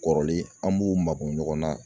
Kɔrɔlen an b'o makun ɲɔgɔn na